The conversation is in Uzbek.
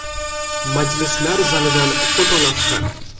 Majlislar zalidan fotolavha.